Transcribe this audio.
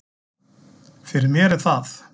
Fyrir mér er það